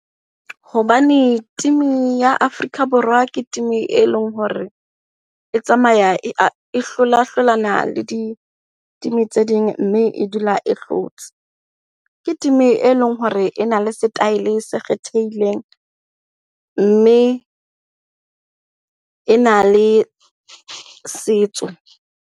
Hobane team-i ya Afrika Borwa ke team-i e leng hore e tsamaya e hlola hlolana le di-team tse ding mme e dula e hlotse. Ke team-i e leng hore e na le setaele se kgethehileng mme e na le setso.